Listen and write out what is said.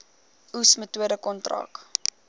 oes metode kontrak